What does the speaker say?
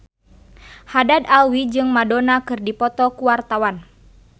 Haddad Alwi jeung Madonna keur dipoto ku wartawan